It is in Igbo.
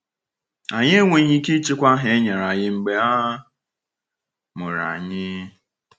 Anyị enweghị ike ịchịkwa aha e nyere anyị mgbe a mụrụ anyị.